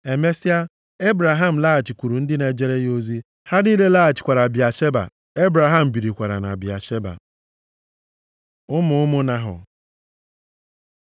Emesịa, Ebraham laghachikwuru ndị na-ejere ya ozi. Ha niile laghachikwara Bịasheba. Ebraham birikwara na Bịasheba. Ụmụ ụmụ Nahọ